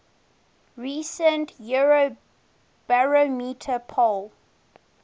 recent eurobarometer poll